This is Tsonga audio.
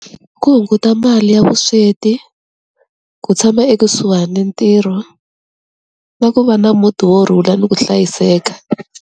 Ku hunguta mali ya vusweti, ku tshama ekusuhani ntirho, na ku va na muti wo rhula ni ku hlayiseka.